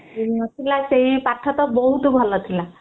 school ନଥିଲା ଆଉ ସେଇ ପାଠ ତ ବହୁତ ଭଲ ଥିଲା